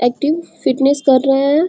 Active fitness कर रहे है।